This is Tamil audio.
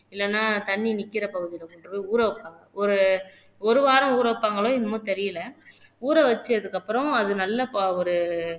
இல்லைன்னா தண்ணி நிக்கிறே பகுதியில கொண்டுபோய் ஊற வைப்பாங்க ஒரு ஒரு வாரம் ஊற வைப்பாங்களோ என்னமோ தெரியலே ஊற வச்சதுக்கு அப்புறம் அது நல்ல ஒரு